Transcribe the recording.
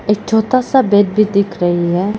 एक छोटा सा बेड भी दिख रही है।